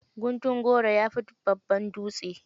Guntun goro, ya fi babban dutse.